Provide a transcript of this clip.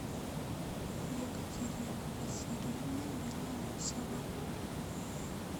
екатерина васильевна белоусова